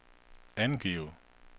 angiv